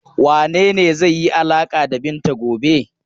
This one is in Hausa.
Wane ne zai yi alaƙa da Binta gobe?